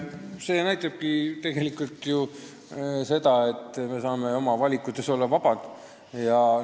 See näitabki tegelikult seda, et me saame oma valikutes vabad olla.